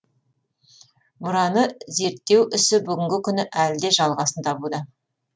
мұраны зерттеу ісі бүгінгі күні әлі де жалғасын табуда